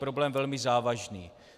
Problém velmi závažný.